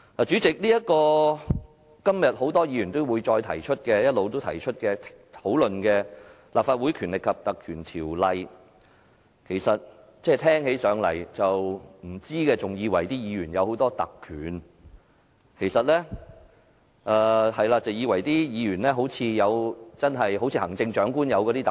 主席，今天很多議員一直提到，也一直討論的《立法會條例》，不知情者聽起來還以為議員擁有很多特權，以為議員擁有行政長官所擁有的那些特權。